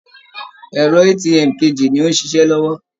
Ẹ̀rọ ATM kejì ni ó ń ṣiṣẹ́ lọ́wọ́